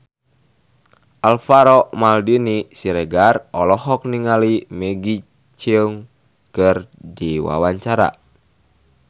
Alvaro Maldini Siregar olohok ningali Maggie Cheung keur diwawancara